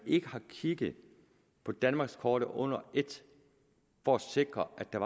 ikke har kigget på danmarkskortet under et for at sikre at der